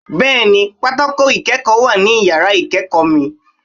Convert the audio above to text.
Bẹ́ẹ̀ni pátákó ìkọ̀wé wà ní yàrá ìkéèkó mi